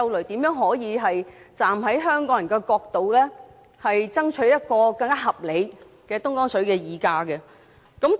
怎樣可以令政府站在香港人的角度，爭取一個更合理的東江水的議價機制？